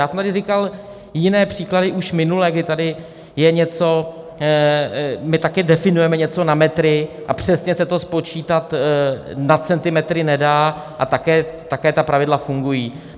Já jsem tady říkal jiné příklady už minule, kdy tady je něco, my taky definujeme něco na metry a přesně se to spočítat na centimetry nedá, a také ta pravidla fungují.